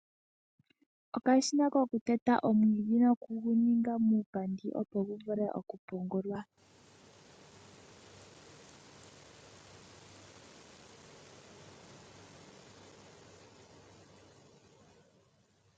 Okashina kokuteta omwiidhi noku gu ninga muupandi, opo gu vule okupungulwa.